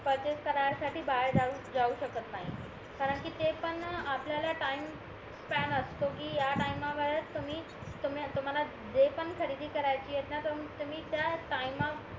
purchase करायसाठी बाहेर जाऊ शकत नाही कारणकि ते पण आपल्याला टाईम स्पॅम असतो कि ह्या टाईमा वरच तुम्ही तुम्हाला जे पण खरेदी करायचा आहे तुम्ही त्या टाईमा